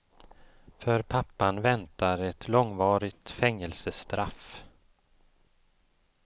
För pappan väntar ett långvarigt fängelsestraff.